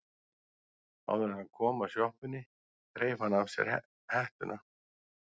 Áður en hann kom að sjoppunni þreif hann af sér hettuna.